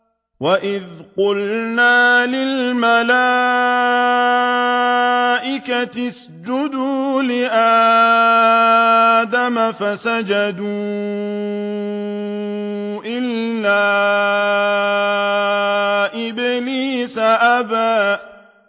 وَإِذْ قُلْنَا لِلْمَلَائِكَةِ اسْجُدُوا لِآدَمَ فَسَجَدُوا إِلَّا إِبْلِيسَ أَبَىٰ